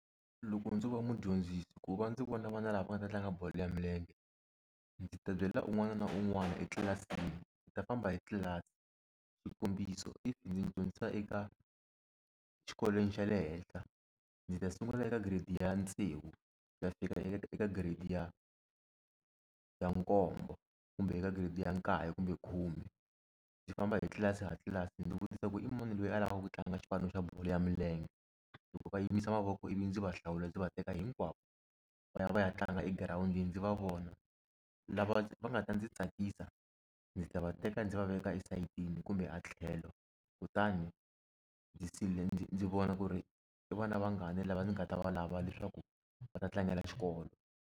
Loko ndzo va mudyondzisi ku va ndzi vona vana lava va nga ta tlanga bolo ya milenge ndzi ta byela un'wana na un'wana etlilasini ndzi ta famba hi tlilasi xikombiso if ndzi dyondzisa eka xikolweni xa le henhla ndzi ta sungula eka grade ya tsevu ku ya fika eka eka grade ya ya nkombo kumbe eka grade ya nkaye kumbe khume ndzi famba hi tlilasi ha tlilasi ndzi vutisa ku i mani loyi a lavaka ku tlanga xipano xa bolo ya milenge loko va yimisa mavoko ivi ndzi va hlawula ndzi va teka hinkwavo va ya va ya tlanga egirawundini ndzi va vona lava va nga ta ndzi tsakisa ndzi ta va teka ndzi va veka esayitini kumbe a tlhelo kutani ndzi ndzi ndzi ndzi vona ku ri i vana vangani lava ni nga ta va lava leswaku va ta tlangela xikolo.